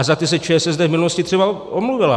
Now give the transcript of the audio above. A za ty se ČSSD v minulosti třeba omluvila.